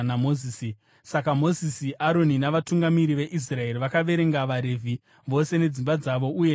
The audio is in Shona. Saka Mozisi, Aroni navatungamiri veIsraeri vakaverenga vaRevhi vose nedzimba dzavo uye nemhuri dzavo.